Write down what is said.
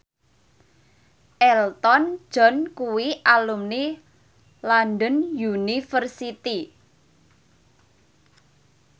Elton John kuwi alumni London University